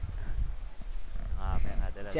હા મેં ખાધેલા છે.